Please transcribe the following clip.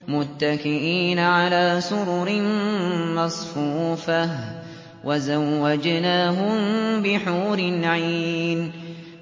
مُتَّكِئِينَ عَلَىٰ سُرُرٍ مَّصْفُوفَةٍ ۖ وَزَوَّجْنَاهُم بِحُورٍ عِينٍ